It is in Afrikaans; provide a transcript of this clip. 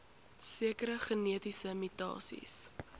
sekere genetiese mutasies